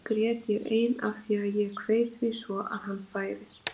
Oft grét ég ein af því að ég kveið því svo að hann færi.